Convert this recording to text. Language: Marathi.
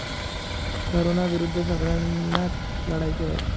कोरोनाविरुद्ध सगळय़ांनाच लढायचे आहे.